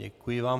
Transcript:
Děkuji vám.